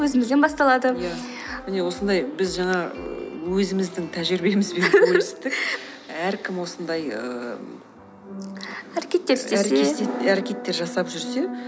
өзімізден басталады ия міне осындай біз жаңа өзіміздің тәжірибемізбен әркім осындай ііі әрекеттер істесе әрекеттер жасап жүрсе